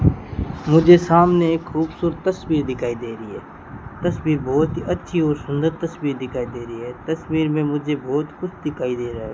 मुझे सामने एक खूबसूरत तस्वीर दिखाई दे री है तस्वीर बहोत ही अच्छी और सुंदर तस्वीर दिखाई दे री है तस्वीर में मुझे बहोत कुछ दिखाई दे रहा है।